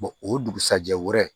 o dugusajɛ wɛrɛ